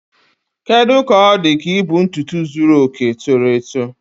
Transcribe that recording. Kedu ka ọ dị ka ibu ntutu zuru oke toro eto?